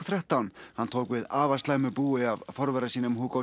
þrettán hann tók við afar slæmu búi af forvera sínum